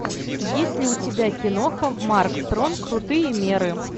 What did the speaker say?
есть ли у тебя киноха марк стронг крутые меры